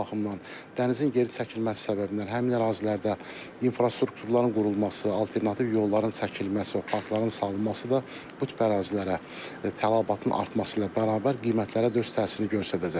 Bu baxımdan dənizin geri çəkilməsi səbəbindən həmin ərazilərdə infrastrukturların qurulması, alternativ yolların çəkilməsi və parkların salınması da bu tip ərazilərə tələbatın artması ilə bərabər qiymətlərə də öz təsirini göstərəcək.